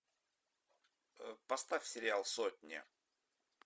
поставь сериал сотня